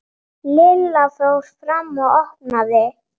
Lilla fór fram og opnaði.